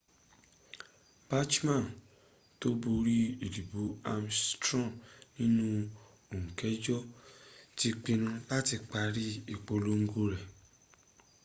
bachmann tó borí ìdìbò ames straw nínú oọù kẹjọ ti pinnu láti parí ìpolongo rẹ̀